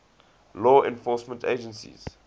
law enforcement agencies